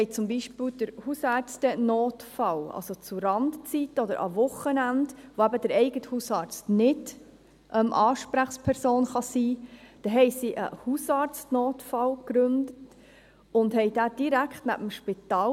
Sie gründete zum Beispiel den Hausärztenotfall, also für Randzeiten oder Wochenenden, an welchen der eigene Hausarzt nicht Ansprechperson sein kann, und positionierten diesen direkt neben dem Spital.